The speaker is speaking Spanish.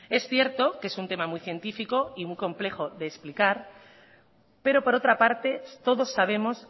es cierto que es un tema muy científico y muy complejo de explicar pero por otra parte todos sabemos